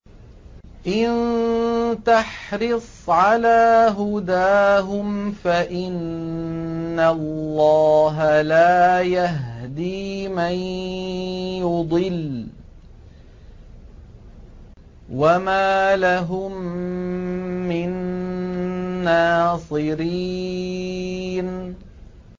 إِن تَحْرِصْ عَلَىٰ هُدَاهُمْ فَإِنَّ اللَّهَ لَا يَهْدِي مَن يُضِلُّ ۖ وَمَا لَهُم مِّن نَّاصِرِينَ